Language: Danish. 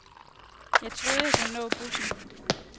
Jeg troede, jeg kunne nå bussen.